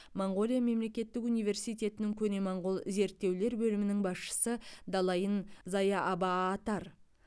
моңғолия мемлекеттік университетінің көне моңғол зерттеулер бөлімінің басшысы далайн заяабаатар